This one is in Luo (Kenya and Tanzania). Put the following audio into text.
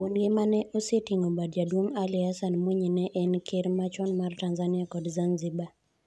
Wuongi ma ne oseting'o bade jaduong' Ali Hassan Mwinyi ne en Ker machon mar Tanzania kod Zanzibar.